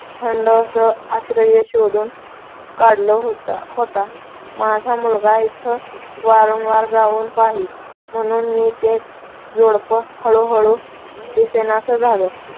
थंड असा आश्रय शोधून काढला होता. माझा मुलगा तिथं वारंवार जाऊन पाही म्हणून मग ते जोडपं हळूहळू दिसेनासं झालं.